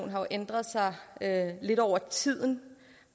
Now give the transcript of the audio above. jo ændret sig lidt over tid